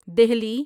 Delhi